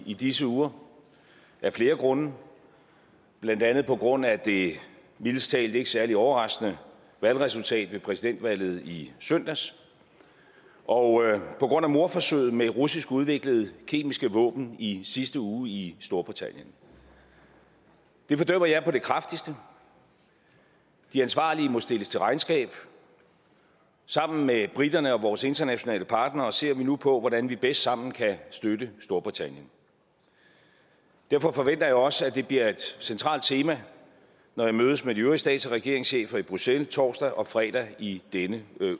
i disse uger af flere grunde blandt andet på grund af det mildest talt ikke særlig overraskende valgresultat ved præsidentvalget i søndags og på grund af mordforsøget med russisk udviklede kemiske våben i sidste uge i storbritannien det fordømmer jeg på det kraftigste de ansvarlige må stilles til regnskab sammen med briterne og vores internationale partnere ser vi nu på hvordan vi bedst sammen kan støtte storbritannien derfor forventer jeg også at det bliver et centralt tema når jeg mødes med de øvrige stats og regeringschefer i bruxelles torsdag og fredag i denne